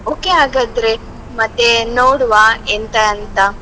Okay ಹಾಗಾದ್ರೆ ಮತ್ತೆ ನೋಡುವ ಎಂತ ಅಂತ.